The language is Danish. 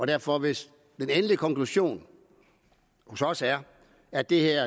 derfor hvis den endelige konklusion for os er at det her